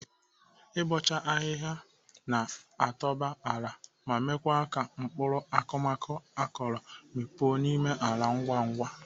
Ịbọcha ahịhịa na-atope ala ma mee ka mgbọrọgwụ akụmakụ akọrọ mikpuo n'ime ala ngwa ngwa.